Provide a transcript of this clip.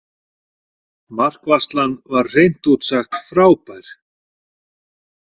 Markvarslan var hreint út sagt frábær.